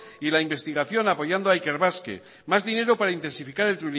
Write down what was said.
y la investigación apoyando a ikerbasque más dinero para intensificar el